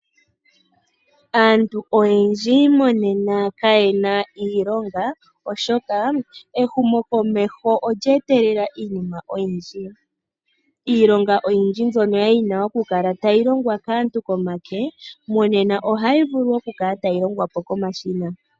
Aantu oyendji monena kayena iilonga oshoka ehumokomeho olyeetelela iinima oyindji. Iilonga oyindji mbyono yali yina okukala tayi longwa kaantu komake monena ohayi vulu okukala tayi longwa po komashina.